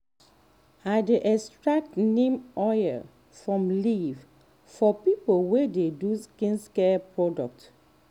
i dey extract neem oil from leaf for people wey dey do skincare product.